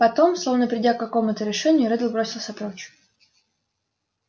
потом словно придя к какому-то решению реддл бросился прочь